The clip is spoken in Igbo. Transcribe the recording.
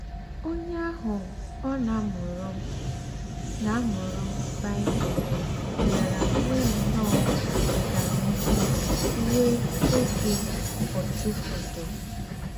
Ònyè àhù ọ̀ nà-àmùrù nà-àmùrù Bible bíárá nwéé nnọ́ọ́ ọ́ganíhù ruò ógé ọ̀túfọ̀dụ́.